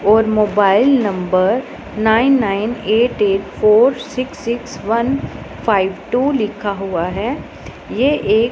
और mobile number nine nine eight eight four six six one five two लिखा हुआ है ये एक--